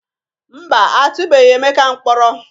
Mba, a atụbeghi Emeka mkpọrọ.